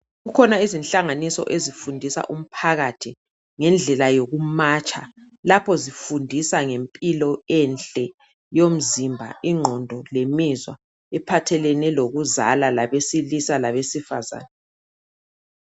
Kukhona izinhlanganiso ezifundisa umphakathi ngendlela yokumatsha lapho ezifundisa ngempilo enhle yomzimba, ingqondo lemizwa. Iphathelane lokuzala labesilisa labesifazana.